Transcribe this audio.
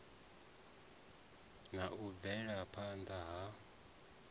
na u bvela phana ha